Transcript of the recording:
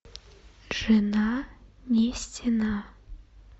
жена не стена